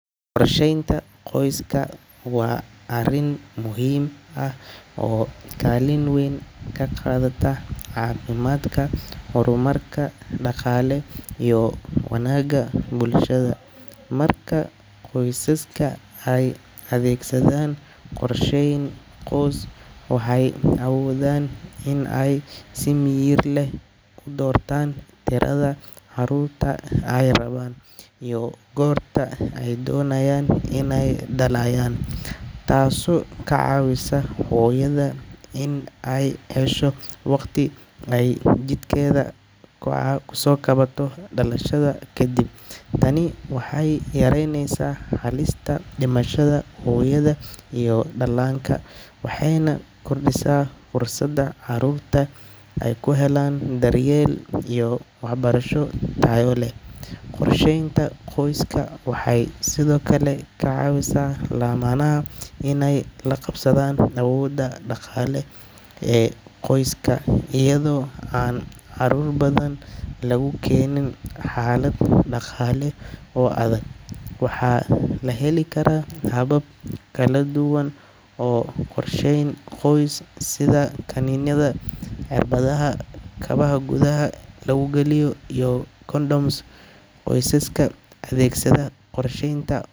Qorsheynta qoyska waa arrin muhiim ah oo kaalin weyn ka qaadata caafimaadka, horumarka dhaqaale iyo wanaagga bulshada. Marka qoysaska ay adeegsadaan qorsheyn qoys, waxay awoodaan inay si miyir leh u doortaan tirada carruurta ay rabaan iyo goorta ay doonayaan inay dhalayaan, taasoo ka caawisa hooyada in ay hesho waqti ay jidhkeeda ku soo kabato dhalashada ka dib. Tani waxay yaraynaysaa halista dhimashada hooyada iyo dhallaanka waxayna kordhisaa fursadda carruurta ay ku helaan daryeel iyo waxbarasho tayo leh. Qorsheynta qoyska waxay sidoo kale ka caawisaa lamaanaha inay la qabsadaan awoodda dhaqaale ee qoyska, iyadoo aan carruur badan lagu keenin xaalad dhaqaale oo adag. Waxaa la heli karaa habab kala duwan oo qorsheyn qoys sida kaniiniyada, cirbadaha, kabaha gudaha lagu geliyo, iyo condoms. Qoysaska adeegsada qorsheynta.